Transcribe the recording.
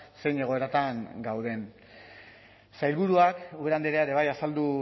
zein egoeratan gauden sailburuak ubera andrea ere bai azaldu